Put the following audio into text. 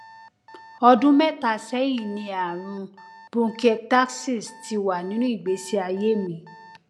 ọdún mẹta sẹyìn ni ààrùn bronchiectasis ti wà nínú ìgbésí ayé mi